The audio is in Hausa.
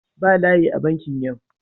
Ba layi a bankin yau.